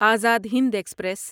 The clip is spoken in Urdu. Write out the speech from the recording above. آزاد ہند ایکسپریس